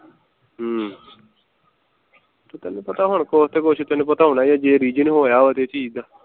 ਹਮ ਤੇ ਤੈਨੂੰ ਪਤਾ ਹੈਂ ਹੁਣ ਕੁਛ ਤੇ ਕੁਛ ਤੈਨੂੰ ਪਤਾ ਹੈ ਜੇ reason ਹੋਇਆ ਇਹ ਚੀਜ਼ ਦਾ